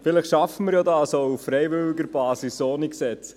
Vielleicht schaffen wir dies auch auf freiwilliger Basis, ohne Gesetz.